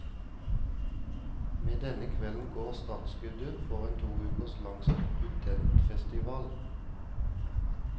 Med denne kvelden går startskuddet for en to uker lang studentfestival.